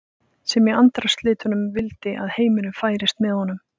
sem í andarslitrunum vildi að heimurinn færist með honum.